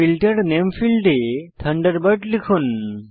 filter নামে ফীল্ডে Thunderbird লিখুন